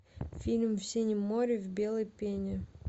фильм в синем море в белой пене